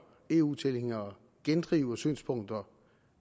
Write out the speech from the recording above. eu tilhængere gendriver synspunkter